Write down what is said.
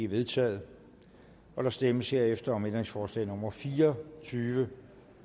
vedtaget der stemmes herefter om ændringsforslag nummer fire og tyve